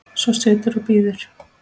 Svo situr og bíður.